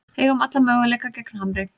Eigum alla möguleika gegn Hamri